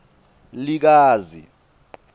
likazi